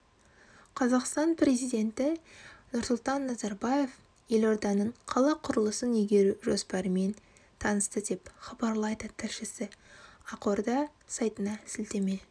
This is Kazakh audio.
қазақстан президенті нұрсұлтан назарбаев елорданың қала құрылысын игеру жоспарымен танысты деп хабарлайды тілшісі ақорда сайтына сілтеме